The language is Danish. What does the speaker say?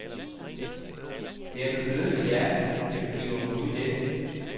Det er med blødende hjerte, jeg begiver mig ud i dette.